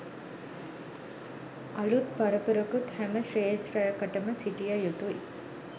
අලුත් පරපුරකුත් හැම ක්ෂේත්‍රයකටම සිටිය යුතුයි.